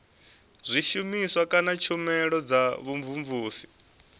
zwishumiswa kana tshumelo dza vhumvumvusi